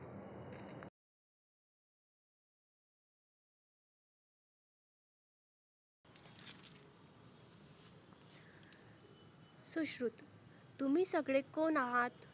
सुश्रुत तुम्ही सगळे कोण आहात?